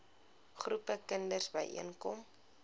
groepe kinders byeenkom